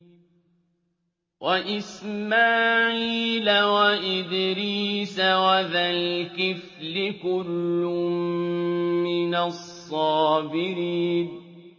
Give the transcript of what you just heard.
وَإِسْمَاعِيلَ وَإِدْرِيسَ وَذَا الْكِفْلِ ۖ كُلٌّ مِّنَ الصَّابِرِينَ